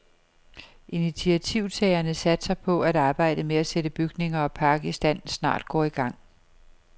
Initiativtagerne satser på, at arbejdet med at sætte bygninger og park i stand snart går i gang.